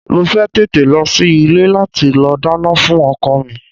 Mo fẹ́ tètè lọ sí ilé láti lọ dáná fún ọkọ mi.